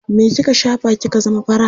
Me kika shafa kika zama fara?